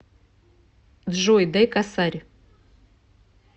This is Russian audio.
джой дай косарь